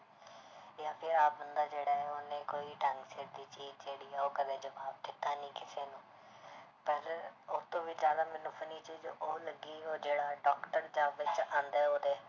ਆਹ ਬੰਦਾ ਜਿਹੜਾ ਹੈ ਉਹਨੇ ਕੋਈ ਢੰਗ ਸਿਰ ਦੀ ਚੀਜ਼ ਜਿਹੜੀ ਆ ਉਹ ਕਦੇ ਜਵਾਬ ਦਿੱਤਾ ਨੀ ਕਿਸੇ ਨੂੰ ਪਰ ਉਸ ਤੋਂ ਵੀ ਜ਼ਿਆਦਾ ਮੈਨੂੰ funny ਚੀਜ਼ ਉਹ ਲੱਗੀ ਉਹ ਜਿਹੜਾ doctor ਆਉਂਦਾ ਹੈ ਉਹਦੇ